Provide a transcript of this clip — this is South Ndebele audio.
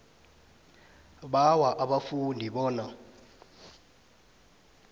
bawa abafundi bona